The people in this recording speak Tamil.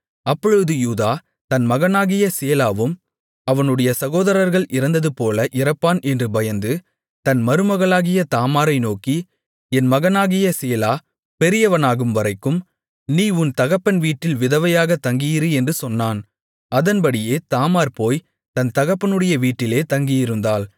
அப்பொழுது யூதா தன் மகனாகிய சேலாவும் அவனுடைய சகோதரர்கள் இறந்ததுபோல இறப்பான் என்று பயந்து தன் மருமகளாகிய தாமாரை நோக்கி என் மகனாகிய சேலா பெரியவனாகும்வரைக்கும் நீ உன் தகப்பன் வீட்டில் விதவையாகத் தங்கியிரு என்று சொன்னான் அதன்படியே தாமார் போய்த் தன் தகப்பனுடைய வீட்டிலே தங்கியிருந்தாள்